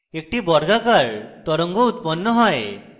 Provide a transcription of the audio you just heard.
একটি বর্গাকার তরঙ্গ উৎপন্ন হয়